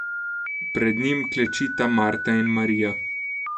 Pred njim klečita Marta in Marija.